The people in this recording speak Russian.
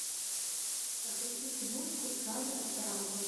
загрузи киношку жанра драма